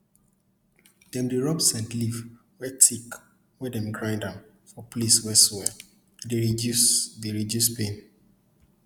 dem dey rub scent leaf wey thick wen dem grind am for place wey swell e dey reduce dey reduce pain